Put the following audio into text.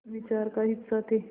विचार का हिस्सा थे